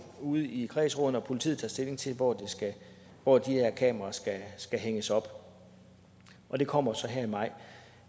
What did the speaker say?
ude i kredsrådene og politiet tager stilling til hvor hvor de her kameraer skal hænges op og det kommer så her i maj